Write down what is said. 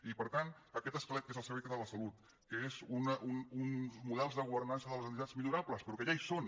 i per tant aquest esquelet que és el servei català de la salut que són uns models de governança de les entitats millorables però que ja hi són